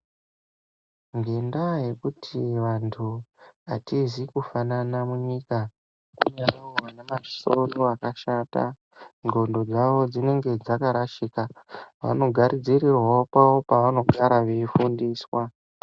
Ngendaa yekuti vantu hatizi kufanana munyika, kunewo vane masoro akashata. Ndxondo dzavo dzinenge dzakarashika, vanogadzirirwawo kwavo kwevanogara veifundiswa.